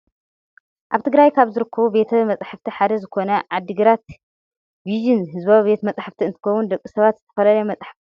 ኣብ ትግራይ ካብ ዝርከቡ ቤተ መፃሕፍቲ ሓደ ዝኮነ ዓዲግራት ቪዥን ህዝባዊ ቤተ መፃሕፍቲ እንትከውን ደቂ ሰባት ዝተፈላለዩ መፅሓፍቲ ዝረክብሉ ቦታ እዩ።